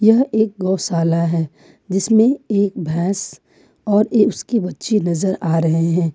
यह एक गौशाला है जिसमें एक भैंस और उसकी बच्ची नजर आ रहे हैं।